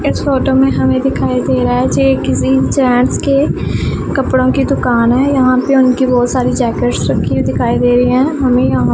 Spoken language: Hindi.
इस फोटो में हमें दिखाई दे रहा है ये किसी जेंट्स के कपड़ों की दुकान है यहां पे उनकी बहुत सारी जैकेट्स रखी हुई दिखाई दे रही हैं हमें यहां--